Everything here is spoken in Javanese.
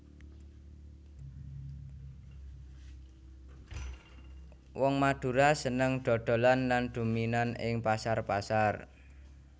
Wong Madura seneng dhodholan lan dominan ing pasar pasar